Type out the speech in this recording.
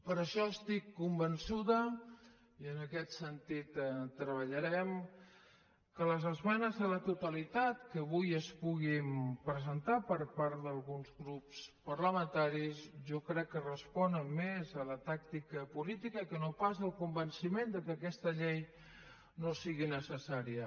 per això estic convençuda i en aquest sentit treballarem que les esmenes a la totalitat que avui es puguin presentar per part d’alguns grups parlamentaris jo crec que responen més a la tàctica política que no pas al convenciment que aquesta llei no sigui necessària